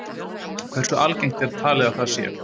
Hversu algengt er talið að það sé?